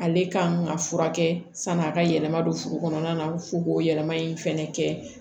Ale ka ŋa furakɛ san'a ka yɛlɛma don furu kɔnɔna na fo k'o yɛlɛma in fɛnɛ kɛ